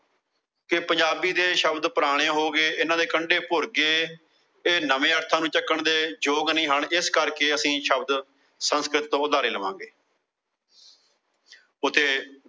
ਕੇ ਪੰਜਾਬੀ ਦੇ ਸ਼ਬਦ ਪੁਰਾਣੇ ਹੋ ਗਏ। ਇਹਨਾਂ ਦੇ ਕੰਡੇ ਭੁਰ ਗਏ। ਇਹ ਨਵੇਂ ਅਰਥਾਂ ਨੂੰ ਚੱਕਣ ਦੇ ਯੋਗ ਨਹੀਂ ਹਨ। ਇਸ ਕਰਕੇ ਅਸੀਂ ਸ਼ਬਦ ਸੰਸਕ੍ਰਿਤ ਤੋਂ ਉਧਾਰੇ ਲਵਾਂਗੇ। ਉੱਥੇ